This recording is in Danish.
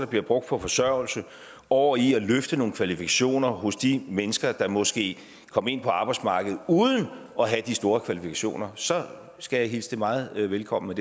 bliver brugt på forsørgelse over i at løfte nogle kvalifikationer hos de mennesker der måske kom ind på arbejdsmarkedet uden at have de store kvalifikationer så skal jeg hilse det meget velkommen